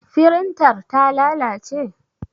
Firintar ta lalace?